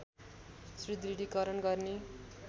सुदृढीकरण गर्ने